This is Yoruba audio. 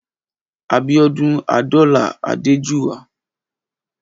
Abiodun Adola Adejuwa